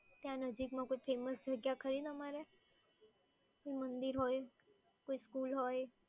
ત્યાં નજીકમાં કોઇ ફેમસ ખરી તમારે? કોઈ મંદિર હોય, school હોય.